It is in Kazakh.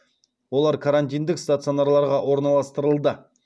олар карантиндік стационарларға орналастырылды